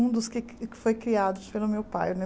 Um dos que que foi criado pelo meu pai, né?